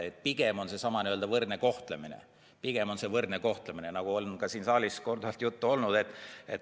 Pigem on eesmärk seesama võrdne kohtlemine, nagu on ka siin saalis korduvalt juttu olnud.